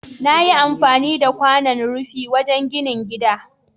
Nayi amfani da kwanan rufi wajan ginin gida